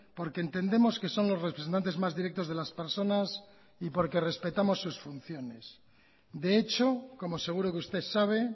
porque entendemos que son los representantes más directos de las personas y porque respetamos sus funciones de hecho como seguro que usted sabe